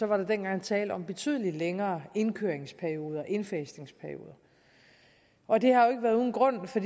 var dengang tale om betydelig længere indfasningsperioder og det har jo ikke været uden grund for